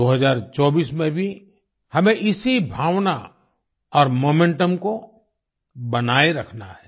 2024 में भी हमें इसी भावना और मोमेंटम को बनाए रखना है